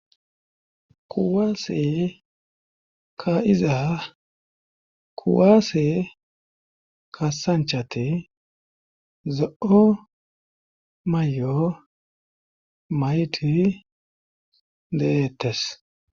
Kuwaase ka iza kuwaase ka sanchate zo7o mayo maiti dehettes